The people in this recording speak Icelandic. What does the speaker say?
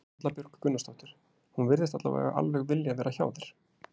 Erla Björg Gunnarsdóttir: Hún virðist allavega alveg vilja vera hjá þér?